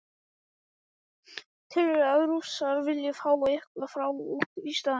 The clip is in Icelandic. Telurðu að Rússar vilji fá eitthvað frá okkur í staðinn?